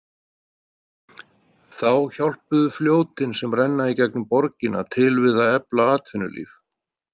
Þá hjálpuðu fljótin sem renna í gegnum borgina til við að efla atvinnulíf.